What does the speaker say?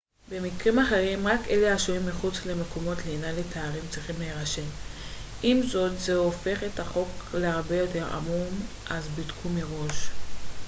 במקרים אחרים רק אלה השוהים מחוץ למקומות לינה לתיירים צריכים להירשם עם זאת זה הופך את החוק להרבה יותר עמום אז בדקו מראש